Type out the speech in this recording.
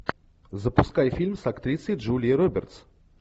запускай фильм с актрисой джулией робертс